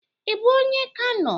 Ị bu onye Kano?